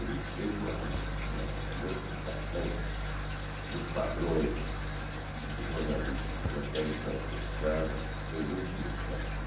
Ele fez uma uma modificação dos padrões jornalísticos até então praticados, que foi muito significativa.